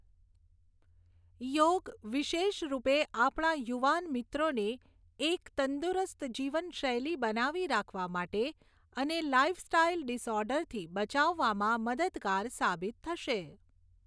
યોગ, વિશેષ રૂપે આપણા યુવાન મિત્રોને એક તંદુરસ્ત જીવનશૈલી બનાવી રાખવા માટે અને લાઇફસ્ટાઇલ ડિસઑર્ડરથી બચાવવામાં મદદગાર સાબિત થશે.